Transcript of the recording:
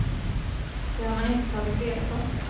Det har man inte tagit reda på.